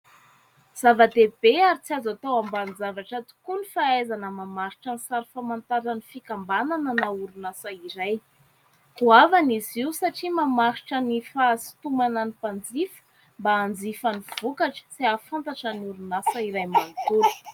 Zava-dehibe ary tsy azo atao ambanin-javatra tokoa ny fahaizana mamaritra ny sary famantarana ny fikambanana na orinasa iray. Goavana izy io satria mamaritra ny fahasotomana ny mpanjifa mba hanjifa ny vokatra sy hahafantatra ny orinasa iray manontolo.